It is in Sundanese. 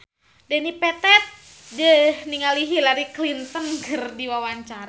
Dedi Petet olohok ningali Hillary Clinton keur diwawancara